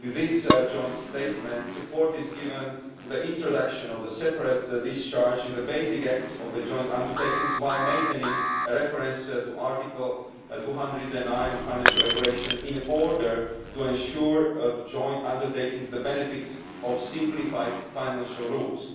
With this joint statement, support is given for the introduction of separate discharge in the basic acts of the joint undertakings, while maintaining a reference to Article 209 of the Financial Regulation in order to ensure that the joint undertakings enjoy the benefits of simplified financial rules.